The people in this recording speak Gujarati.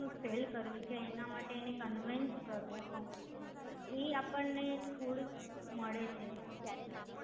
નું cell કરવી છે એના માટે conveyance કરવો. એ આપણ ને થોડીક મળે છે